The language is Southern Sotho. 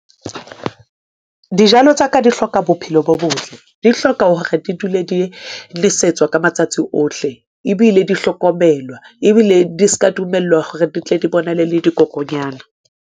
Dijalo tsa ka di hloka bophelo bo botle, di hloka hore di dule di nesetswa ka matsatsi ohle, ebile di hlokomelwa, ebile di ska dumellwa hore di tle dibonale le dikokonyana.